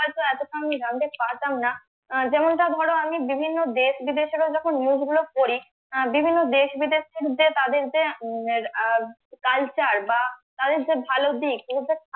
এতটা আমি জানতে পারতামনা আহ যেমনটা ধরো আমি বিভিন্ন দেশ বিদেশের যখন news গুলো পড়ি বিভিন্ন দেশ বিদেশের যে তাদের যে culture বা তাদের যে ভালো দিক